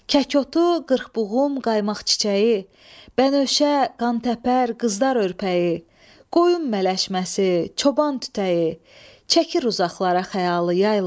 Kək otu, qırxbuğum, qaymaq çiçəyi, bənövşə, qantəpər, qızlar örpəyi, qoyun mələşməsi, çoban tütəyi, çəkir uzaqlara xəyalı yaylaq.